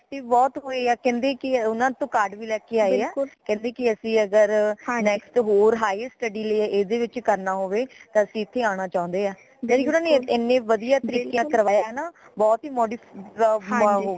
effective ਬਹੁਤ ਹੋਈ ਹੈ ਊਨਾ ਤੋਂ card ਵੀ ਲੈ ਕੇ ਆਏ ਹੈ ਕਹਿੰਦੇ ਕੇ ਅਸੀਂ ਅਗਰ next ਹੋਰ highest study ਲਈ ਏਦੇ ਵਿਚ ਕਰਨਾ ਹੋਵੇ ਤਾਂ ਅਸੀਂ ਇਥੇ ਆਣਾ ਚਉਣੇ ਹਾ ਏਨੇ ਵਧੀਆ ਤਰੀਕੇ ਨਾਲ ਕਰਵਾਇਆ ਹੈ ਨਾ ਬਹੁਤਹੀ modify